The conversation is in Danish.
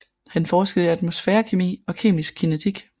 Han forskede i atmosfærekemi og kemisk kinetik